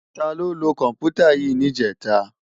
Táló ló kòmpútá yi nijètá?